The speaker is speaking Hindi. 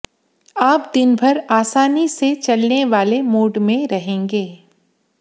आप दिन भर आसानी से चलने वाले मूड में रहेंगे